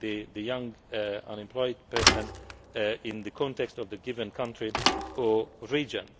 the young unemployed person in the context of the given country or region.